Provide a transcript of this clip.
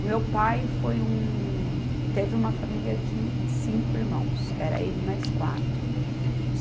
O meu pai foi um, teve uma família de cinco irmãos, era ele e mais quatro.